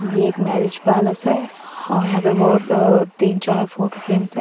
ये एक marriage palace है और यहां पे बहोत अ तीन चार फोटो फ्रेम्स है।